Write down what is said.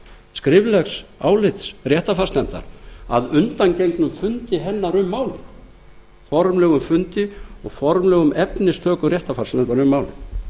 skriflegs álits réttarfarsnefndar að undangengnum fundi hennar um málið formlegum fundi og formlegum efnistökum réttarfars utan um málið